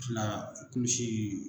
Fila komisee